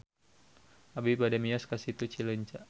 Abi bade mios ka Situ Cileunca